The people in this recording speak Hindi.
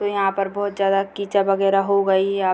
यहां पर बहुत ज्यादा कीचड़ वगैरा हो गई है य --